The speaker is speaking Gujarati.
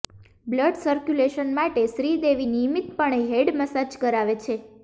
બ્લડ સર્ક્યુલેશન માટે શ્રીદેવી નિયમિતપણે હેડ મસાજ કરાવે છે